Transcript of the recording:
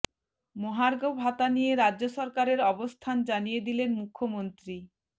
মহার্ঘ ভাতা নিয়ে রাজ্য সরকারের অবস্থান জানিয়ে দিলেন মুখ্যমন্ত্রী